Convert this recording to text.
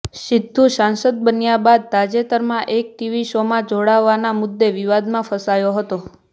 સિદ્ધુ સાંસદ બન્યા બાદ તાજેતરમાં એક ટીવી શોમાં જોડાવાના મુદ્દે વિવાદમાં ફસાયો હતો